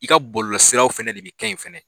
I ka bɔlɔlɔsiraw fana de bɛ kɛ yen fana